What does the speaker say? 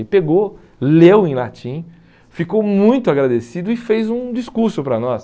Ele pegou, leu em latim, ficou muito agradecido e fez um discurso para nós.